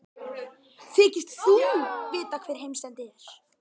Þykist þú vita hvar heimsendi er?